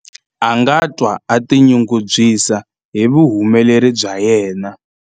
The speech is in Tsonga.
a nga twa a tinyungubyisa hi vuhumeleri bya yena